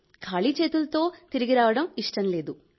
ఖాళీ చేతులతో తిరిగిరావడం ఇష్టం లేదు